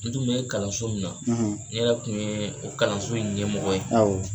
N tun bɛ kalanso min na , ne yɛrɛ tun ye o kalanso in ɲɛmɔgɔ ye.